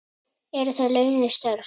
Eru þetta launuð störf?